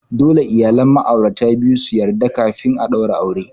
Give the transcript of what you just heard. Dole iyalan ma'aurata biyun su yarda kafin a daura aure.